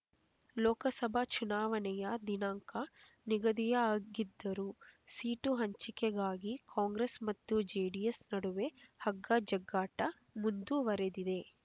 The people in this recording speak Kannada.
ಲೋಕಸಭಾ ಚುನಾವಣೆಯ ದಿನಾಂಕ ನಿಗದಿಯಾಗಿದ್ದರೂ ಸೀಟು ಹಂಚಿಕೆಗಾಗಿ ಕಾಂಗ್ರೆಸ್ ಮತ್ತು ಜೆಡಿಎಸ್ ನಡುವೆ ಹಗ್ಗ ಜಗ್ಗಾಟ ಮುಂದುವರೆದಿದೆ